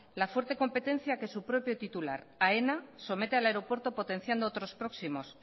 la fuerte competencia que su propio titular aena somete al aeropuerto potenciando otros próximos